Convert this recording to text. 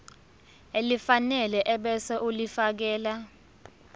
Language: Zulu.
elifanele ebese ulifiakela